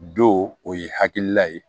Don o ye hakilila ye